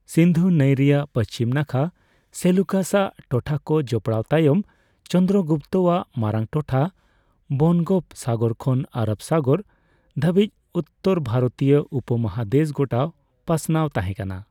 ᱥᱤᱱᱫᱷᱩ ᱱᱟᱹᱤ ᱨᱮᱭᱟᱜ ᱯᱟᱹᱪᱷᱤᱢ ᱱᱟᱠᱷᱟ ᱥᱮᱞᱩᱠᱟᱥᱼᱟᱜ ᱴᱚᱴᱷᱟᱠᱚ ᱡᱚᱯᱚᱲᱟᱣ ᱛᱟᱭᱚᱢ, ᱪᱚᱱᱫᱨᱚ ᱜᱩᱯᱛᱚᱼᱟᱜ ᱢᱟᱨᱟᱝ ᱴᱚᱴᱷᱟ ᱵᱚᱱᱜᱚᱯᱥᱟᱜᱚᱨ ᱠᱷᱚᱱ ᱟᱨᱚᱵ ᱥᱟᱜᱚᱨ ᱫᱷᱟᱹᱵᱤᱪ ᱩᱛᱛᱟᱹᱨ ᱣᱟᱨᱚᱛᱤᱭᱟᱹ ᱩᱯᱚᱢᱚᱦᱟᱫᱮᱥ ᱜᱚᱴᱟ ᱯᱟᱥᱱᱟᱣ ᱛᱟᱦᱮᱠᱟᱱᱟ ᱾